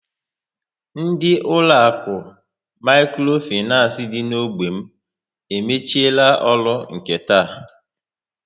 Ndị uloaku mikro financé dị n'ógbè m emechiela ọrụ nke taa